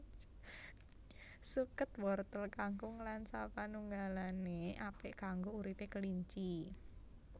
Suket wortel kangkung lan sapanunggalané apik kanggo uripé kelinci